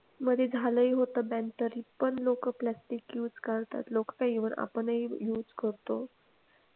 मध्ये झालंही होतं bann तरी पण लोकं plastic use करतात. लोकं काय even आपणही use करतो.